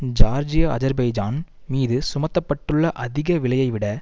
Georgia Azerbaijan மீது சுமத்த பட்டுள்ள அதிக விலையைவிட